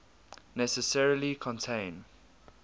necessarily contain